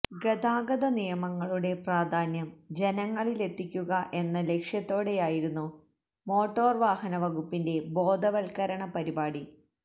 ഗതാഗത നിയമങ്ങളുടെ പ്രാധാന്യം ജനങ്ങളിലെത്തിക്കുക എന്ന ലക്ഷ്യത്തോടെയായിരുന്നു മോട്ടോര് വാഹന വകുപ്പിന്റെ ബോധവല്ക്കരണ പരിപാടി